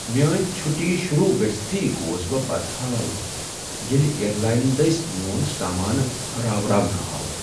میٲنۍ چھُٹی شروع گژھۍ تھٕے گوس بہ بدحال ییٚلہ ایر لاین دٔسۍ میون سامانہ راوراونہٕ آو۔